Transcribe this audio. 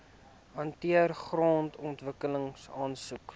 hanteer grondontwikkeling aansoeke